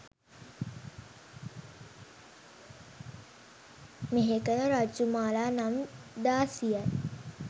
මෙහෙකළ රජ්ජුමාලා නම් දාසියයි.